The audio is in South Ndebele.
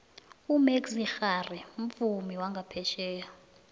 umaxia khari mvumi wangaphetjheya